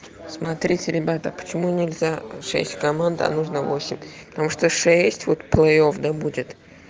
смотрите ребята почему нельзя шесть команда а нужно восемь потому что шесть вот плей офф да будет